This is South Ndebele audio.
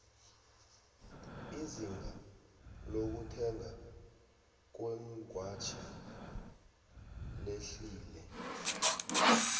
izinga lokuthengwa kweengwatjhi lehlile